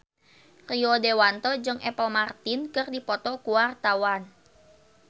Rio Dewanto jeung Apple Martin keur dipoto ku wartawan